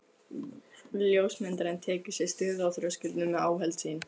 Ljósmyndarinn tekur sér stöðu á þröskuldinum með áhöld sín.